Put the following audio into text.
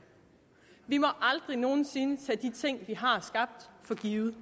vi må aldrig nogen sinde tage de